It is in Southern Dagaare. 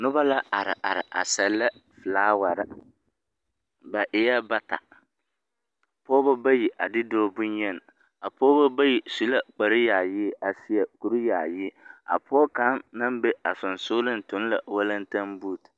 Nobɔ la ar ar a sɛlɛ folaware. Ba eɛɛ bata, pɔbɔ bayi a de dɔɔ bonyeni. A pɔbɔ bayi su la kuryaayi a seɛ kuryaayi. A pɔɔ kaŋ naŋ be a sonsonleŋ toŋ la walentembuuti.